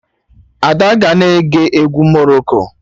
Ada ga-na eke egwu Morocco